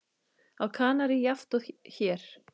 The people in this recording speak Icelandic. Á Kanarí jafnt og hér.